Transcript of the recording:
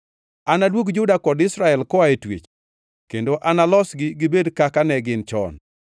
Anaduog Juda kod Israel koa e twech kendo analosgi gibed kaka ne gin chon.